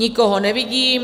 Nikoho nevidím.